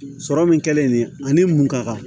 Sɔrɔ min kɛlen ani mun ka kan